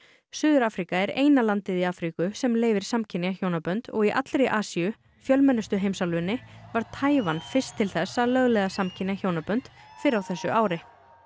suður Afríka er eina landið í Afríku sem leyfir samkynja hjónabönd og í allri Asíu fjölmennustu heimsálfunni varð Taívan fyrst til þess að lögleiða samkynja hjónabönd fyrr á þessu ári